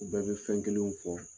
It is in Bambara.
U bɛɛ bɛ fɛn kelenw fɔ